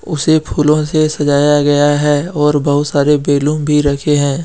उसे फूलों से सजाया गया है और बहुत सारे बैलूम भी रखे है।